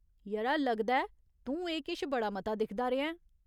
यरा, लगदा ऐ तूं एह् किश बड़ा मता दिखदा रेहा ऐं ।